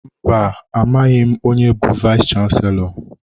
Mba, amaghị onye bụ vayis chansilọ.